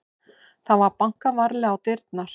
Það var bankað varlega á dyrnar.